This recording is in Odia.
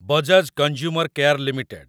Bajaj consumer care limited